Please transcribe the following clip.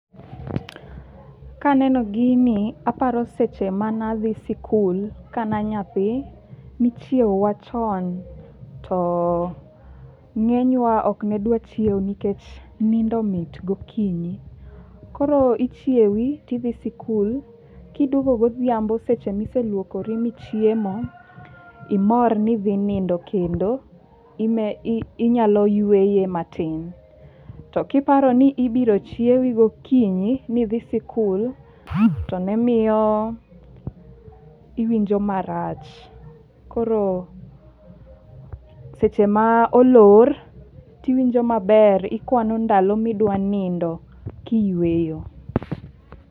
Kaneno gini, aparo seche mane adhi sikul kane anyathi. Nichiewowa chon to ng'enywa ok ne dwar chiew nikech nindo mit gokinyi. Koro ichiewi tidhi sikul, kiduogo godhiambo seche miseluokori michiemo imor ni idhi nindo kendo. Ime inyalo yueye matin. To kiparo ni ibiro chiewi gokinyi midhi sikul, to ne miyo iwinjo marach. Koro seche ma olor tiwinjo maber, ikwano ndalo midwa nindo kiyweyo.